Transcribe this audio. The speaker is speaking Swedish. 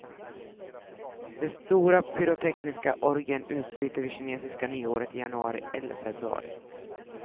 Den stora pyrotekniska orgien utbryter vid kinesiska nyåret i januari eller februari.